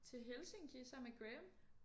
Til Helsinki sammen med Graham